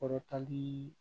Kɔrɔtali